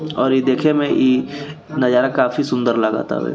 और इ देखे में इ नज़ारा काफी सुन्दर लगा तावे।